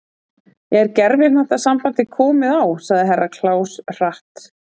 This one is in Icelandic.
Er gervihnattasambandið komið á sagði Herra Kláus hratt.